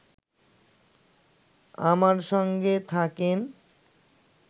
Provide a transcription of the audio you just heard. আমার সঙ্গে থাকেন